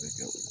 Bɛ kɛ o